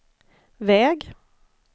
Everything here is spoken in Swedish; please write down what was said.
väg